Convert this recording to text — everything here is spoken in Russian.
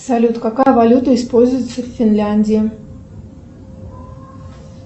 салют какая валюта используется в финляндии